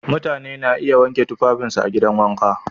Mutane na iya wanke tufafinsu a gidan wanka.